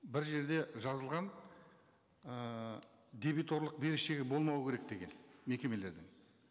бір жерде жазылған ыыы дебиторлық берешегі болмау керек деген мекемелердің